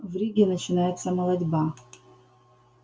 в риге начинается молотьба